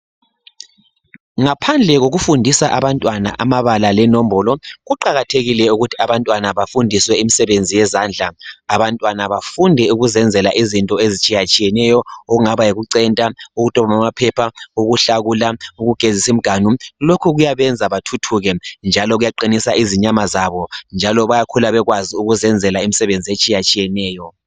Ngaphandle kokufundisa abantwana amabala lenombolo. Kuqakathekile ukuthi abantwana bafundiswe imisebenzi yezandla. Abantwana bafunde ukuzenzela izinto ezitshiyatshiyeneyo okungaba yikucenta ukudobha amaphepha ukuhlakula ukugezisa imiganu. Lokho kuyabenza bathuthuke njalo kuyabaqinisa inyama zabo. Njalo bayakhula bekwazi ukuzenzela imisebenzi etshiyatshiyeneyo .